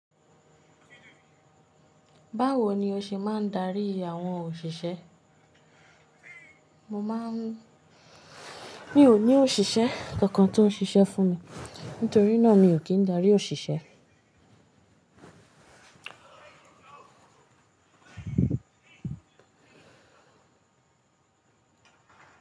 Báwo ni o ṣe máa ń darí àwọn òṣìṣẹ́? Mò máa ń mi ò ní òṣìṣẹ́ kankan tó ń ṣiṣẹ́ fún mi. Nítorí náà mi ò kín darí òṣìṣẹ́.